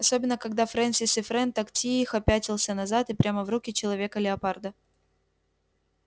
особенно когда фрэнсис и фрэн так тихо пятился назад и прямо в руки человека-леопарда